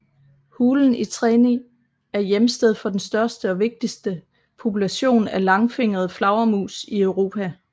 Hulen i Treni er hjemsted for den største og vigtigste population af langfingret flagermus i Europa